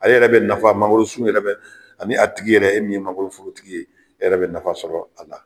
Ale yɛrɛ bɛ nafa mangoro sun yɛrɛ ani a tigi yɛrɛ e min ye mangorotigi ye yɛrɛ bɛ nafa sɔrɔ a la.